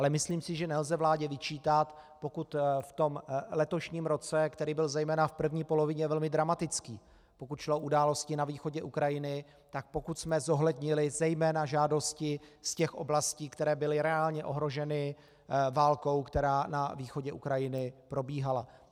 Ale myslím si, že nelze vládě vyčítat, pokud v tom letošním roce, který byl zejména v první polovině velmi dramatický, pokud šlo o události na východě Ukrajiny, tak pokud jsme zohlednili zejména žádosti z těch oblastí, které byly reálně ohroženy válkou, která na východě Ukrajiny probíhala.